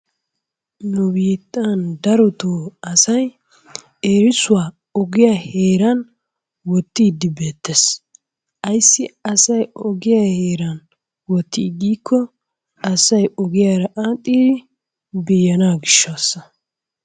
Nu bittan darotto asay erissuwaa ogiyaa heeran wottid beettes, ayssi asay ogiyaa heeran wotti giiko asay ogiyaara adhdhidi be'ana gishshaasa.